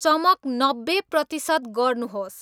चमक नब्बे प्रतिशत गर्नुहोस्